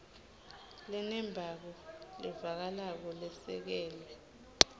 lenembako levakalako lesekelwe